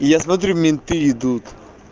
я смотрю менты идут